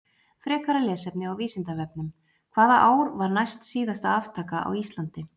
Frekara lesefni á Vísindavefnum: Hvaða ár var næstsíðasta aftaka á Íslandi?